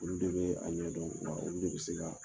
Olu de bɛ a ɲɛ dɔn, olu de bɛ se k'a